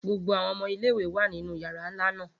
Gbogbo awọn ọmọ ile-iwe wa ninu yara nla naa